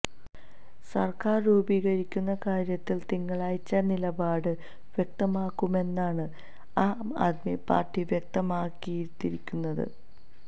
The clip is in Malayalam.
സര്ക്കാര് രൂപീകരിക്കുന്ന കാര്യത്തില് തിങ്കളാഴ്ച നിലപാട് വ്യക്തമാക്കുമെന്നാണ് ആം ആദ്മി പാര്ട്ടി വ്യക്തമാക്കിതിയിരിക്കുന്നത്